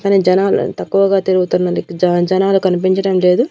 కనీ జనాలు తక్కువగా తిరుగుతున్నది జ జనాలు కనిపించడం లేదు.